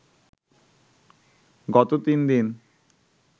গত তিন দিন